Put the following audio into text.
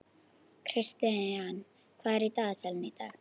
Kristian, hvað er í dagatalinu í dag?